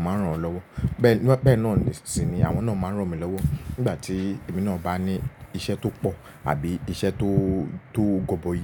maa n ràn wọ́n lọ́wọ́. Bẹ́ẹ̀ ní-- bẹ́ẹ̀ náà nìṣìnyí, àwọn náà máa ń ràn mi lọ́wọ́ nígbà tí èmi náà bá ní iṣẹ́ tó pọ̀ àbí iṣẹ́ tó, tó gọbọi.